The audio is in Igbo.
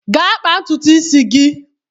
Gaa kpaa ntutu isi gị!